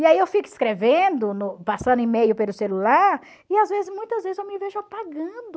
E aí, eu fico escrevendo no... passando e-mail pelo celular, e às vezes muitas vezes eu me vejo apagando.